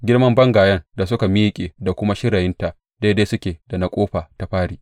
Girman bangayen da suka miƙe, da kuma shirayinta daidai suke da na ƙofa ta fari.